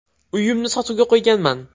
Uyimni sotuvga qo‘yganman.